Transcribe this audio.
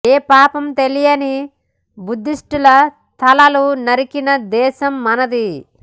ఏ పాపం తెలియని బుద్ధిష్టుల తలలు నరికిన దేశం మనది